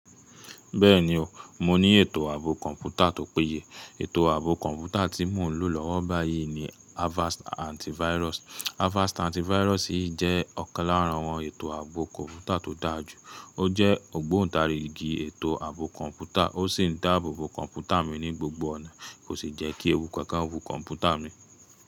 Bẹ́ẹ̀ni o, mo ní ètò ààbò kọ̀ǹpútà tó péye. Ètò ààbò kọ̀ǹpútà tí mo ń lò lọ́wọ́ báyìí ni Avast Antivirus. Avast Antivirus yi jẹ́ ọ̀kan lára àwọn ètò ààbò kọ̀ǹpútà tó dáa jù. Ó jẹ́ ògbóǹtarigì ètò ààbò kọ̀ǹpútà, ó sì ń dáàbò bo kọ̀ǹpútà mi ní gbogbo ọ̀nà, kò sì jẹ́ kí ewu kankan wú kọ̀ǹpútà mi.